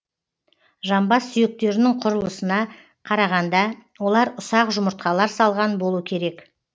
жамбас сүйектерінің құрылысына қарағанда олар ұсақ жұмыртқалар салған болу керек